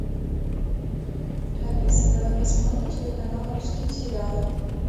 алиса давай посмотрим телеканал русские сериалы